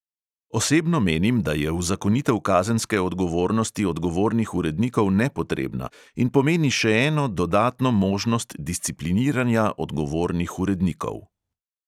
Osebno menim, da je uzakonitev kazenske odgovornosti odgovornih urednikov nepotrebna in pomeni še eno dodatno možnost discipliniranja odgovornih urednikov.